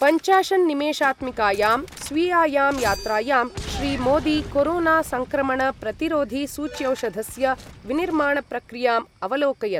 पञ्चाशन्निमेषात्मिकायां स्वीयायां यात्रायां श्रीमोदी कोरोनासङ्क्रमणप्रतिरोधिसूच्यौषधस्य विनिर्माणप्रक्रियाम् अवलोकयत्।